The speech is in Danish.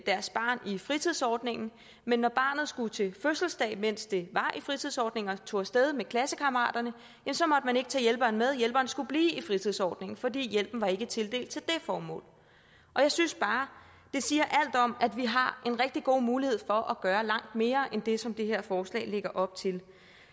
deres barn i fritidsordningen men når barnet skulle til fødselsdag mens det var i fritidsordningen og tog af sted med klassekammeraterne så måtte man ikke tage hjælperen med for hjælperen skulle blive i fritidsordningen fordi hjælpen ikke var tildelt til det formål jeg synes bare det siger alt om at vi har en rigtig god mulighed for at gøre langt mere end det som det her forslag lægger op til